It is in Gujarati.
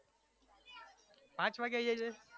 પાંંચ વાગે આઈ જાય છે એ?